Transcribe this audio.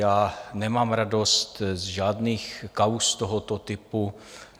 Já nemám radost z žádných kauz tohoto typu.